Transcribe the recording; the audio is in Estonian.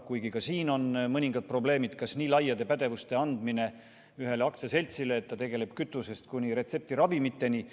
Kuigi ka siin on mõningad probleemid, näiteks see, kas nii laia pädevuse andmine ühele aktsiaseltsile, kes tegeleb kõigega kütusest kuni retseptiravimiteni, on õige.